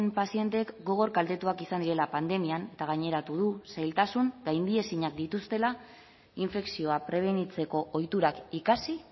pazienteek gogor kaltetuak izan direla pandemian eta gaineratu du zailtasun gaindiezinak dituztela infekzioa prebenitzeko ohiturak ikasi